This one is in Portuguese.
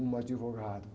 Um advogado.